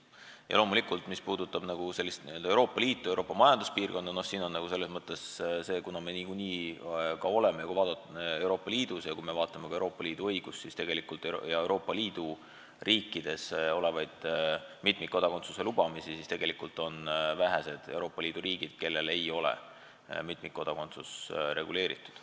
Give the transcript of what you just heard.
Ja loomulikult, mis puudutab Euroopa Liitu ja Euroopa Majanduspiirkonda, kuhu me kuulume, siis kui vaadata Euroopa Liidu õigust ja Euroopa Liidu riike, siis tegelikult on vähe Euroopa Liidu riike, kellel ei ole mitmikkodakondsus reguleeritud.